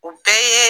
U bɛɛ ye